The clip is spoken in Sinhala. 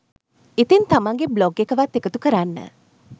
ඉතිං තමන්ගේ බ්ලොග් එකවත් එකතු කරන්න